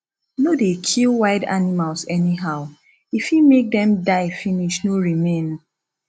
no dey kill wild animals anyhow e fit make them die finish no remain